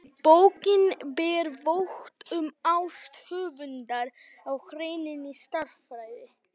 Bókin ber vott um ást höfundar á hreinni stærðfræði.